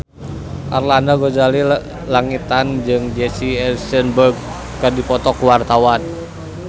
Arlanda Ghazali Langitan jeung Jesse Eisenberg keur dipoto ku wartawan